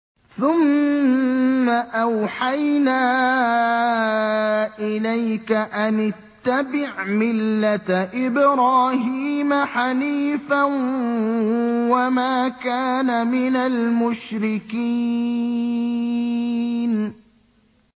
ثُمَّ أَوْحَيْنَا إِلَيْكَ أَنِ اتَّبِعْ مِلَّةَ إِبْرَاهِيمَ حَنِيفًا ۖ وَمَا كَانَ مِنَ الْمُشْرِكِينَ